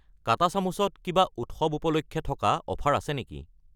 কাটা চামুচ ত কিবা উৎসৱ উপলক্ষে থকা অফাৰ আছে নেকি?